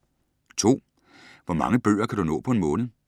2) Hvor mange bøger kan du nå på en måned?